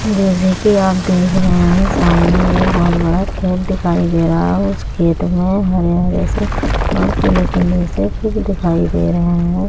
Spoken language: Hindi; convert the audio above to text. जैसे की आप देख रहे हैं सामने बोहोत बड़ा खेत दिखाई दे रहा है। उस खेत मे हरे-हरे से और पीले-पीले से फूल दिखाई दे रहे हैं।